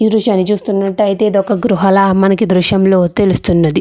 ఈ దృశ్యాన్ని చూసినట్లుయితే ఇది ఒక గృహ లాగా మనకి ఈ దృశ్యంలో తెలుస్తున్నది.